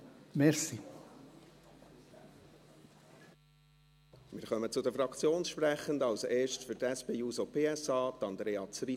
Wir kommen zu den Fraktionssprechenden, als Erstes für die SP-JUSO-PSA, Andrea Zryd.